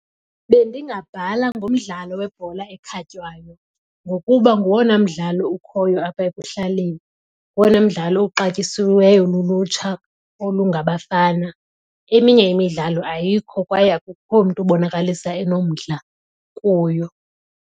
Bendingabhala ngomdlalo webhola ekhatywayo ngokuba ngowona mdlalo ukhoyo apha ekuhlaleni. Ngowona mdlalo uxatyisiweyo lulutsha olungabafana. Eminye imidlalo ayikho kwaye akukho mntu ubonakalisa enomdla kuyo.